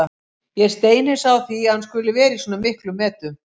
Ég er steinhissa á því að hann skuli vera í svona miklum metum.